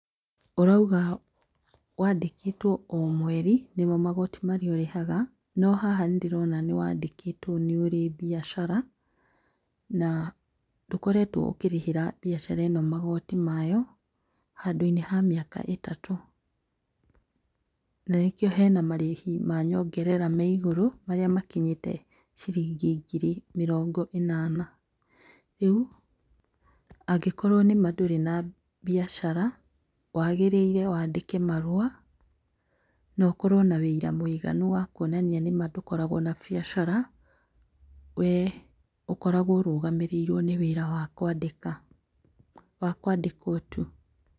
Ũrauga wa ndĩkĩtwo o mweri nĩmo magoti marĩa ũrĩhaga no haha nĩ ndĩrona nĩ wa ndĩkĩtwo nĩ ũrĩ mbiacara na ndũkoretwo ũkĩrĩhĩra mbiacara ĩno magoti mayo handũ inĩ ha mĩaka ĩtatũ, na nĩkĩo hena marĩhi ma nyongerera me igũrũ marĩa makinyĩte ciringi ngiri mĩrongo ĩnana. Rĩu angĩkorwo nĩma ndũrĩ na biacara wagĩrĩire wandĩke marũa na ũkorwo na wũira mũiganu wa kwonania nĩma ndũkoragwo na biacara we ũkoragwo ũrũgamĩrĩirwo nĩ wĩra wa kwandĩka, wa kwandĩkwo tu.